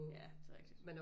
Ja det er rigtigt